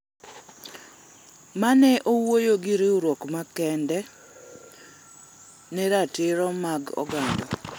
mane owuoyo gi riwruok makedo ne ratiro mag oganda